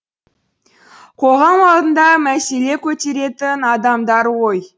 қоғам алдында мәселе көтеретін адамдар ғой